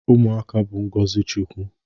Ụmụaka bụ ngọzị Chukwu.